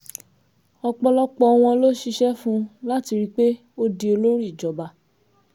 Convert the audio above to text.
ọ̀pọ̀lọpọ̀ wọn ló ṣiṣẹ́ fún un láti rí i pé ó di olórí ìjọba